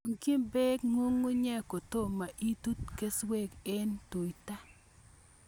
Rangchi peek ng'ung'unyek kotomo itut keswek eng' tuta